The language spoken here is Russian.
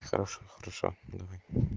хорош хорошо давай